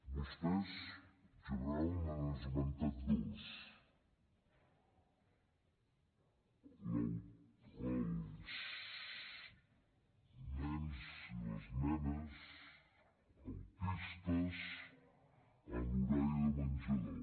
vostès en general n’han esmentat dos els nens i les nenes autistes en l’horari de menjador